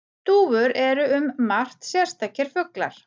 Dúfur eru um margt sérstakir fuglar.